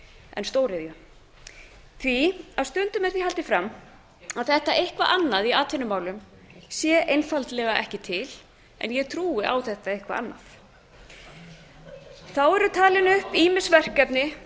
en stóriðju því að stundum er því haldið fram að þetta eitthvað annað í atvinnumálum sé einfaldlega ekki til en ég trúi á þetta eitthvað annað þá eru talin upp ýmis verkefni